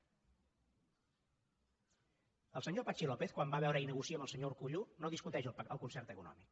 el senyor patxi lópez quan va a veure i negocia amb el senyor urkullu no discuteix el concert econòmic